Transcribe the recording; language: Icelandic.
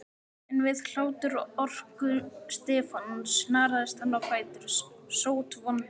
En við hláturroku Stefáns snaraðist hann á fætur, sótvondur.